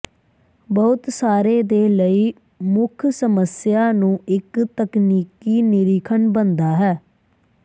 ਬਹੁਤ ਸਾਰੇ ਦੇ ਲਈ ਮੁੱਖ ਸਮੱਸਿਆ ਨੂੰ ਇੱਕ ਤਕਨੀਕੀ ਨਿਰੀਖਣ ਬਣਦਾ ਹੈ